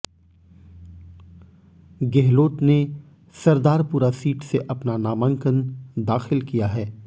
गेहलोत ने सरदारपुरा सीट से अपना नामांकन दाखिल किया है